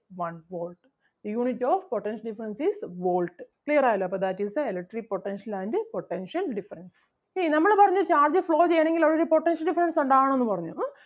one volt. Unit of potential difference is Volt. clear ആയല്ലോ അപ്പം that is the electric potential and potential difference. See നമ്മള് പറഞ്ഞു charge flow ചെയ്യണെങ്കിൽ അവിടെ ഒരു potential difference ഉണ്ടാകണം എന്ന് പറഞ്ഞു ഉം